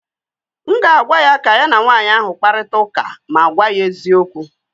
m ga-agwa ya ka ya na nwanyị ahụ kparịta ụka ma gwa ya eziokwu